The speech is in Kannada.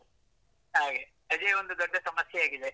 ಹಾಗೆ, ಅದೇ ಒಂದು ದೊಡ್ಡ ಸಮಸ್ಯೆ ಆಗಿದೆ.